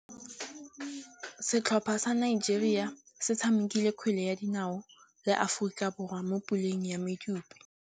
Setlhopha sa Nigeria se tshamekile kgwele ya dinaô le Aforika Borwa mo puleng ya medupe.